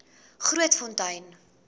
grootfontein